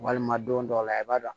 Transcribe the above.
Walima don dɔ la i b'a dɔn